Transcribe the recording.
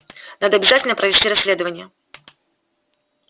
надо обязательно провести расследование